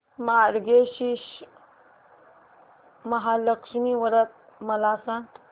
मार्गशीर्ष महालक्ष्मी व्रत मला सांग